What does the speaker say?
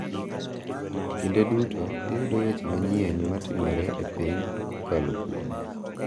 Kinde duto iyudo weche ma manyien ma timore e piny kokalo kuome.